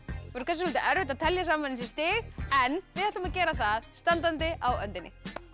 svolítið erfitt að telja saman þessi stig en við ætlum að gera það standandi á öndinni